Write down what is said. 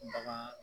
Bagan